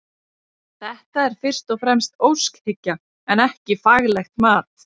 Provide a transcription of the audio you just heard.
Þetta er fyrst og fremst óskhyggja en ekki faglegt mat.